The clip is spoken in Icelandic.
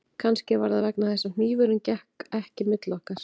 Kannski var það vegna þess að hnífurinn gekk ekki milli okkar